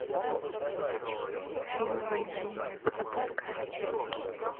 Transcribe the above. фильм война невест запускай